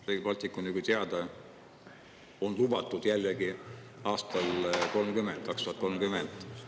Rail Baltic, nagu teada, on ju lubatud aastal 2030.